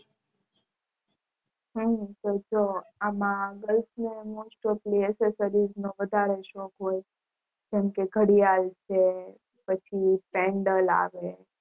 હમ તો તો આમાં Girls માં Most of LeeAccessories નો વધારે શોખ હોય ઘડિયાળ છે પછી Pendle આવે